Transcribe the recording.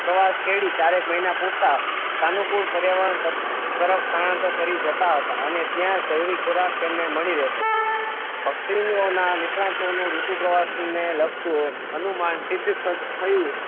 પ્રવાસ ખેડી ચાર એક મહિના પૂરતા સાનુકૂળ પર્યાવરણ તર તરફ સ્થાનાંતર કરી જતાં હતા અને ત્યાં જરૂરી ખોરાક તેમણે મળી રહેતો પક્ષીઓના નિષ્ણાતો નું ઋતુ પ્રવાસ ને લગતું અનુમાન સિદ્ધ થ થયું